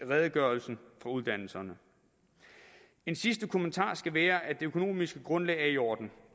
redegørelsen fra uddannelserne en sidste kommentar skal være at det økonomiske grundlag er i orden